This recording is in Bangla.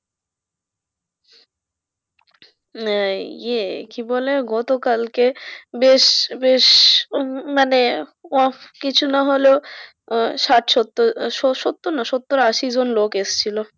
আহ ইয়ে কি বলে গতকালকে বেশ বেশ মানে মানে কিছু না হলেও আহ ষাঠ সত্তর সত্তর না সত্তর আশি জন লোক এসেছিল